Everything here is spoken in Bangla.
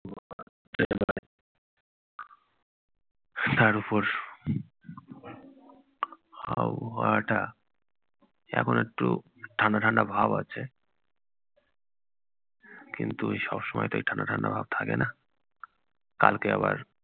তার ওপর আবহাওয়াটা এখন একটু ঠান্ডা ঠান্ডা ভাব আছে কিন্তু সব সময় তো এই ঠান্ডা ঠান্ডা ভাব থাকে না। কালকে আবার